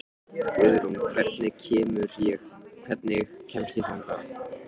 Guðrún, hvernig kemst ég þangað?